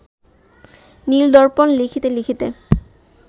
নীল-দর্পণ লিখিতে লিখিতে